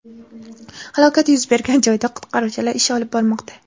Halokat yuz bergan joyda qutqaruvchilar ish olib bormoqda.